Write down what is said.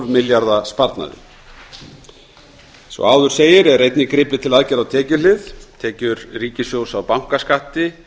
milljarða sparnaði eins og áður segir er einnig gripið til aðgerða á tekjuhlið tekjur ríkissjóðs af bankaskatti